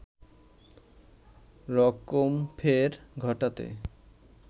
রকমফের ঘটাতে